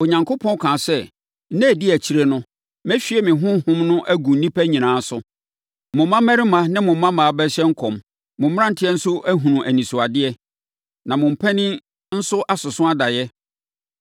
“ ‘Onyankopɔn kaa sɛ, nna a ɛdi akyire no, mɛhwie me Honhom no agu nnipa nyinaa so. Mo mmammarima ne mo mmammaa bɛhyɛ nkɔm, mo mmeranteɛ nso ahunu anisoadeɛ. Na mo mpanin nso asoso adaeɛ.